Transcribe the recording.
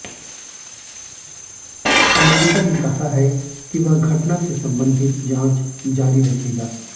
America ने कहा है कि वह घटना से संबंधित जांच जारी रखेगा